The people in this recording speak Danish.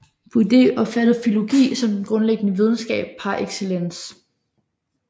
Budé opfattede filologi som den grundlæggende videnskab par excellence